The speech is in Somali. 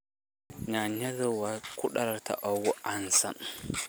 Yaanyada waa khudradda ugu caansan.